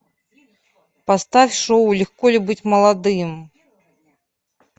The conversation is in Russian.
поставь шоу легко ли быть молодым